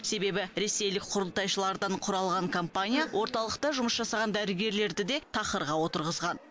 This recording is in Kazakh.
себебі ресейлік құрылтайшылардан құралған компания орталықта жұмыс жасаған дәрігерлерді де тақырға отырғызған